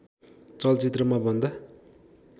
चलचित्रमा भन्दा